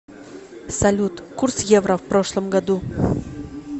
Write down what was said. салют курс евро в прошлом году